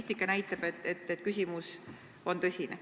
Statistika näitab, et küsimus on tõsine.